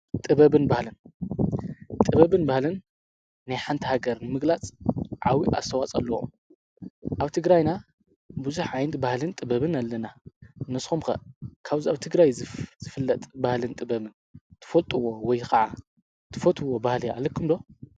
ጥብን ህለን ጥበብን ባህልን ናይሓንታ ሃገር ምግላጽ ዓዊእ ኣተዋጸ ኣለዎ ኣብቲ ግራይና ብዙኅ ዓይንቲ ባህልን ጥበብን ኣለና ነስምከ ካብዝ ኣብቲ ግራይ ዝፍለጥ ባህልን ጥበብን ትፈልጥዎ ወይ ኸዓ ትፈትዎ ባህል ኣለኩምዶ